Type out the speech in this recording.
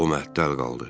O məəttəl qaldı.